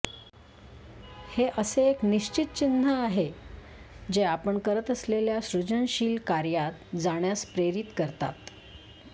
हे असे एक निश्चित चिन्ह आहे जे आपण करत असलेल्या सृजनशील कार्यात जाण्यास प्रेरित करतात